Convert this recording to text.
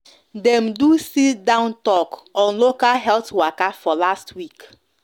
dem do sit-down talk on local health waka for last week